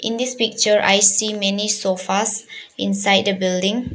In this picture I see many sofas inside a building.